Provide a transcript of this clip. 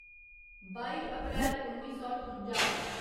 बाई अप्रैल उन्नी सौ ठुंजा